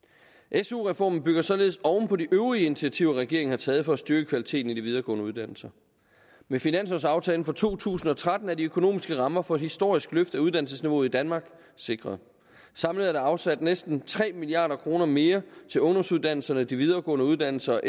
su reformen bygger således oven på de øvrige initiativer regeringen har taget for at styrke kvaliteten i de videregående uddannelser med finanslovsaftalen for to tusind og tretten er de økonomiske rammer for et historisk løft af uddannelsesniveauet i danmark sikret samlet er der afsat næsten tre milliard kroner mere til ungdomsuddannelserne og de videregående uddannelser